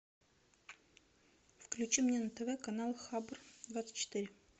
включи мне на тв канал хабр двадцать четыре